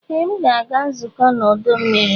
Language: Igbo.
Ee! M ga-aga nzukọ n'ọdọ mmiri.